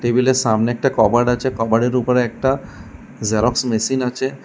Table এর সামনে একটা কবার্ড আছে কবার্ড এর উপরে একটা জেরক্স মেশিন আছে।